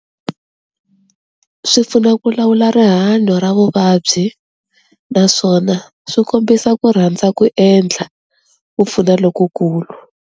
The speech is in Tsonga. Swi pfuna ku lawula rihanyo ra vuvabyi naswona swi kombisa ku rhandza ku endla ku pfuna lokukulu.